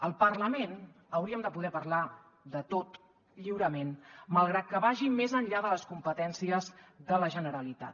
al parlament hauríem de poder parlar de tot lliurement malgrat que vagin més enllà de les competències de la generalitat